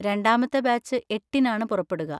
രണ്ടാമത്തെ ബാച്ച് എട്ടിനാണ് പുറപ്പെടുക.